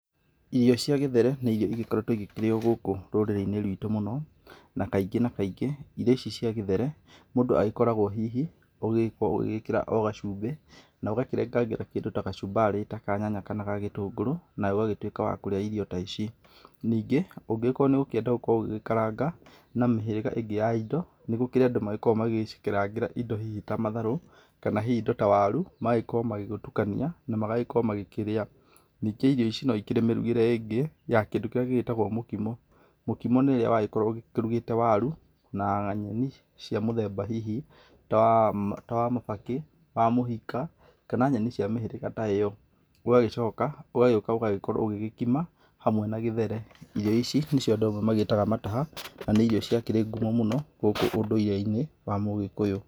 Irio cia gĩthere, nĩ irio ĩgĩkoretwo ĩkĩrĩyo gũkũ rũrĩrĩ-inĩ rwitũ mũno, na kaingĩ na kaingĩ irio ici cia gĩthere mũndũ agĩkoragwo hihi ,ũgĩkorwo ũgĩkĩra o gacumbĩ na ũgakĩrengangĩra kĩndũ ta gacumbarĩ ga nyanya kana ga gĩtũngũrũ nawe ũgagĩtuĩka wa kũrĩa irio ta ici. Ningĩ ũngĩgĩkorwo nĩ ũkĩenda gũgĩkorwo ũgĩkaranga na mĩhĩrĩga ĩngĩ ya ĩndo nĩ gũkĩrĩ andũ magĩkoragwo magĩgĩcikarangĩra ĩndo hihi ta matharũ kana hihi ĩndo ta waru magagĩkorwo magĩgĩtukania na magagĩkorwo magĩkĩria. Ningĩ irio ici no cikĩrĩ mĩrugĩre ĩngĩ ya kĩndũ kĩrĩa gĩgĩtagwo mũkimo, mũkimo nĩ ũrĩa wagĩkoragwo ũkĩrugĩte waru na nyenĩ cia mũthemba hihi ta wa mabakĩ, wa mũhaka, kana nyenĩ cia mĩhĩrĩga ta ĩno, ũgagĩcoka ũgagĩũka ũgagĩkorwo ũgĩkima hamwe na gĩthere. Irio ici nĩcio andũ amwe magĩtaga mataha na nĩ irio ciakĩrĩ ngumo mũno gũkũ ũndũire-inĩ wa mũgĩkũyũ.